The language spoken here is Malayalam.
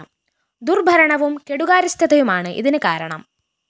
ദുര്‍ഭരണവും കെടുകാര്യസ്ഥതയുമാണ് ഇതിന് കാരണം